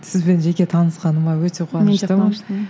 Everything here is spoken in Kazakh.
сізбен жеке танысқаныма өте қуаныштымын